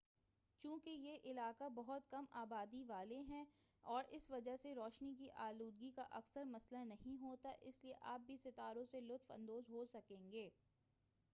چونکہ یہ علاقے بہت کم آبادی والے ہیں اور اس وجہ سے روشنی کی آلودگی کا اکثر مسئلہ نہیں ہوتا ہے اس لئے آپ بھی ستاروں سے لطف اندوز ہو سکیں گے